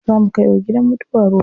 Za mu kai wa gidan mutuwa ruwa.